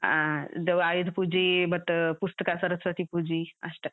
ಹಾ. ಇದು ಆಯುಧ ಪೂಜಿ ಮತ್ತ್ ಪುಸ್ತ್ಕ, ಸರಸ್ವತಿ ಪೂಜಿ ಅಷ್ಟಾ.